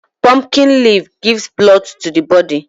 Pumpkin leaf gives blood to the body.